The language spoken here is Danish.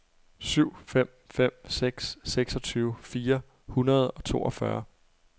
syv fem fem seks seksogtyve fire hundrede og toogfyrre